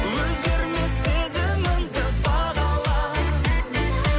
өзгермес сезімімді бағала